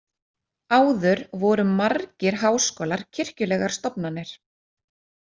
Áður voru margir háskólar kirkjulegar stofnanir.